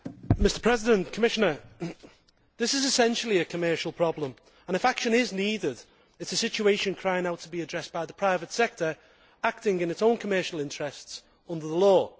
Mr President, this is essentially a commercial problem, and if action is needed, then it is a situation crying out to be addressed by the private sector acting in its own commercial interests, under the law.